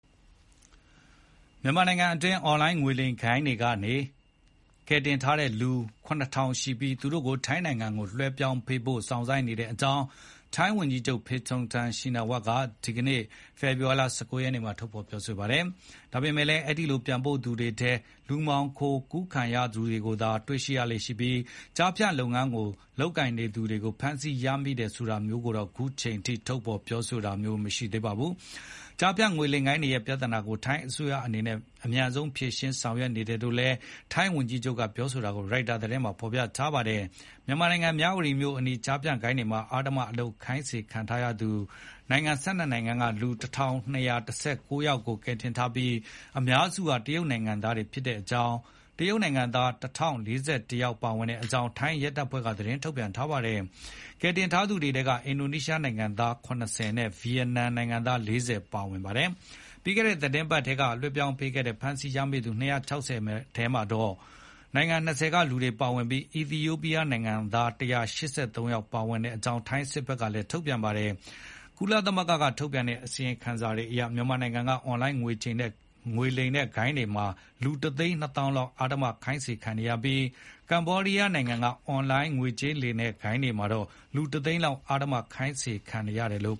မြန်မာနိုင်ငံအတွင်း အွန်လိုင်းငွေလိမ်ဂိုဏ်းတွေလက်က ကယ်တင်ထားသူ ၇,၀၀၀ ရှိပြီး သူတို့ကို ထိုင်းနိုင်ငံကိုလွှဲပြောင်းပေးဖို့ စောင့်ဆိုင်းနေကြောင်း ထိုင်းဝန်ကြီးချုပ် Paetongtarn Shinawatra က ဒီနေ့ ဖေဖေါ်ဝါရီ ၁၉ ရက်နေ့မှာ ပြောပါတယ်။ ဒါပေမယ့်လည်း အဲဒီလို ပြန်ပို့သူတွေထဲ လူမှောင်ခို ကူးခံရသူတွေကိုသာ တွေ့ရလေ့ရှိပြီး ဒီ ကျားဖြန့်လုပ်ငန်းကို ထူထောင်လုပ်ကိုင်သူတွေကို ဖမ်းဆီးရမိ တယ်ဆိုတာမျိုးကိုတော့ ခုချိန်ထိ ထုတ်ဖေါ်ပြောကြားတာမျိုး မတွေ့ရသေးပါဘူး။ ကျားဖြန့်ငွေလိမ်ဂိုဏ်းတွေရဲ့ ပြသာနာကို ထိုင်းအစိုးရအနေနဲ့ အမြန်ဆုံးဖြေရှင်း ဆောင်ရွက်နေတယ် လို့လည်း ထိုင်း ဝန်ကြီးချုပ်ပြောတာကို ရိုက်တာသတင်းမှာ ဖေါ်ပြပါတယ်။ မြန်မာနိုင်ငံ မြဝတီမြို့အနီး ကျားဖြန့်ဂိုဏ်းတွေမှာ အဓမ္မအလုပ်ခိုင်းစေခံရတဲ့သူ နိုင်ငံ ၁၂ နိုင်ငံက လူ ၁,၂၁၉ ယောက်ကို ကယ်တင် ထားပြီး အများစုဟာ တရုတ်နိုင်ငံသားတွေဖြစ်ကြောင်းနဲ့ တရုတ်နိုင်ငံသား ၁,၀၄၁ ယောက် ပါဝင်တဲ့ အကြောင်း ထိုင်းရဲတပ်ဖွဲ့က သတင်းထုတ်ပြန်ထားပါတယ်။ ကယ်တင်ထားသူတွေထဲမှာ အင်ဒိုနီးရှား နိုင်ငံသား ၇၁ ယောက်နဲ့ ဗီယက်နမ်နိုင်ငံသား ၄၀ ပါဝင်ပါတယ်။ ပြီးခဲ့တဲ့ သီတင်းပတ် မြန်မာနိုင်ငံက လွှဲပြောင်းပေးခဲ့တဲ့ ဖမ်းဆီးရမိသူ ၂၆၀ ထဲမှာတော့ နိုင်ငံ ၂၀ က လူတွေပါဝင်ပြီး အီသီယိုပီးယားနိုင်ငံသား ၁၃၈ ယောက် ပါဝင်တဲ့အကြောင်း ထိုင်းစစ်တပ်က သတင်းထုတ်ပြန်ပါတယ်။ ကုလသမဂ္ဂက ထုတ်ပြန်တဲ့အစီရင်ခံစာတွေအရ မြန်မာနိုင်ငံက အွန်လိုင်းငွေကြေးလိမ်လည်တဲ့ ဂိုဏ်းတွေမှာ လူ တသိန်း နှစ်သောင်းလောက် အတင်းအဓမ္မ ခိုင်းစေခံနေရပြီး ကမ္ဘောဒီးယားနိုင်ငံက အွန်လိုင်းငွေကြေး လိမ်လည်တဲ့ဂိုဏ်းမှာ လူ တသိန်းလောက် အဓမ္မ ခိုင်းစေခံနေရတယ်လို့